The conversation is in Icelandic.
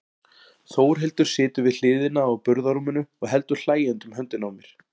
Þórhildur situr við hliðina á burðarrúminu og heldur hlæjandi um höndina á mér.